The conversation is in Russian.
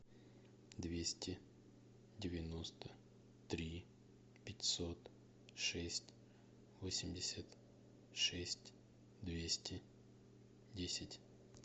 двести девяносто три пятьсот шесть восемьдесят шесть двести десять